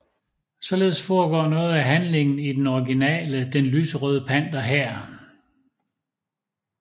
Således foregår noget af handlingen i den originale Den lyserøde panter her